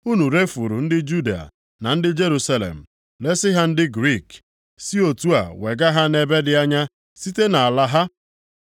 Unu refuru ndị Juda na ndị Jerusalem, resi ha ndị Griik, si otu a wega ha nʼebe dị anya site nʼala ha.